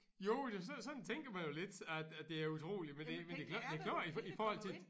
Jo det sådan tænker man jo lidt at at det er utroligt men det men det men det klart i i forhold til